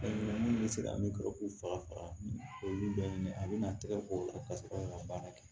Minnu bɛ se ka min sɔrɔ k'u faga faga olu bɛɛ ɲini a bɛna tɛgɛ k'o la ka sɔrɔ ka baara kɛ